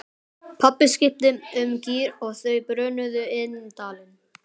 Pabbi skipti um gír og þau brunuðu inn dalinn.